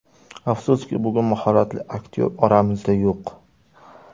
Afsuski, bugun mahoratli aktyor oramizda yo‘q.